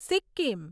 Sikkim